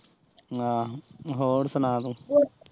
ਆਹ ਹੋਰ ਸੁਣਾ ਤੂੰ